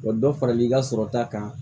Wa dɔ faral'i ka sɔrɔ ta kan